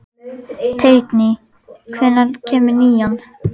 Teitný, hvenær kemur nían?